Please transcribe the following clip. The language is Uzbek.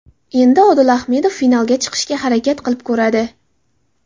Endi Odil Ahmedov finalga chiqishga harakat qilib ko‘radi.